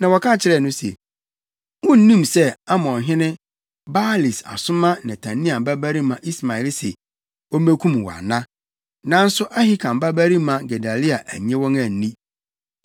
na wɔka kyerɛɛ no se, “Wunnim sɛ, Amonhene Baalis asoma Netania babarima Ismael se, ommekum wo ana?” Nanso Ahikam babarima Gedalia annye wɔn anni.